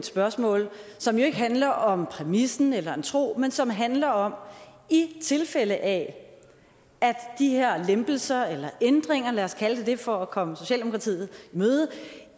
spørgsmål som ikke handler om præmissen eller en tro men som handler om i tilfælde af at de her lempelser eller ændringer lad os kalde dem det for at komme socialdemokratiet